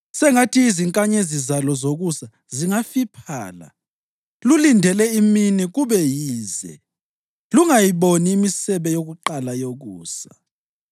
Sengathi izinkanyezi zalo zokusa zingafiphala; lulindele imini kube yize lungayiboni imisebe yokuqala yokusa,